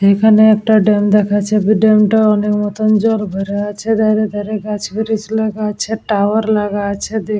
এখানে একটা ড্যাম দেখাছে ড্যাম টাই অনেক মতোন জল ভরে আছে। ধারে ধারে গাছ ব্রিজ লাগা আছে টাওয়ার লাগা আছে দেখ --